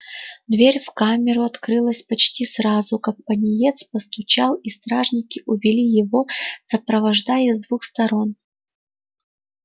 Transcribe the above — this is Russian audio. дверь в камеру открылась почти сразу как пониетс постучал и стражники увели его сопровождая с двух сторон